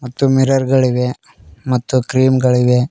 ಮತ್ತು ಮಿರರ್ ಗಳಿವೆ ಮತ್ತು ಕ್ರೀಮ್ ಗಳಿವೆ.